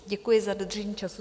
Děkuji za dodržení času.